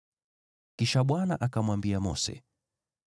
Kisha Bwana akamwambia Mose,